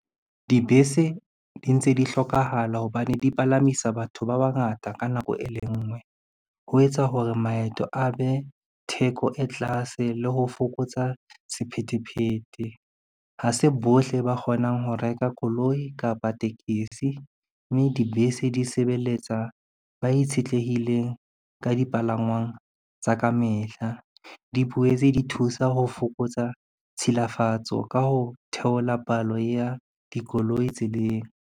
Dibese di ntse di hlokahala hobane di palamisa batho ba bangata ka nako e le ngwe. Ho etsa hore maeto a be theko e tlase le ho fokotsa sephethephethe. Ha se bohle ba kgonang ho reka koloi kapa tekesi, mme dibese di sebeletsa ba itshetlehileng ka dipalangwang tsa ka mehla. Di boetse di thusa ho fokotsa tshilafatso ka ho theola palo ya dikoloi tseleng.